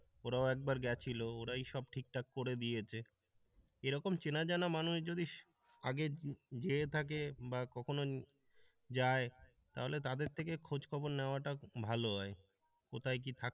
ওরাও একবার গেছিল ওরাই সব ঠিকঠাক করে দিয়েছে এরকম চেনা জানা মানুষ যদি আগে যেয়ে থাকে বা কখনো যাই তাহলে তাদের থেকে খোঁজখবর নেওয়াটা ভালো হয়। কোথায় কি থাকে।